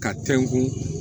Ka tɛnkun